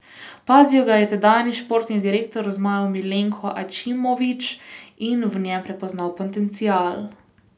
Opazil ga je tedanji športni direktor zmajev Milenko Ačimović in v njem prepoznal potencial.